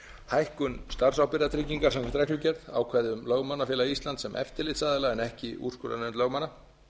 hækkun starfsábyrgðartryggingar samkvæmt reglugerð ákvæði um lögmannafélag íslands sem eftirlitsaðila en ekki úrskurðarnefnd lögmanna